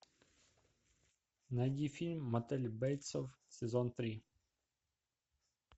найди фильм мотель бейтсов сезон три